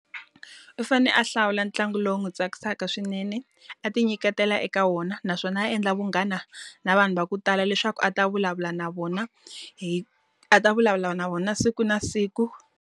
U fanele a hlawula ntlangu lowu n'wi tsakisaka swinene, a ti nyiketela eka wona. Naswona a endla vunghana na vanhu va ku tala leswaku a ta vulavula na vona hi a ta vulavula na vona siku na siku.